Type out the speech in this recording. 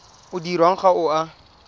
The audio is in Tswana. o dirwang ga o a